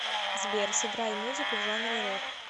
сбер сыграй музыку в жанре рэп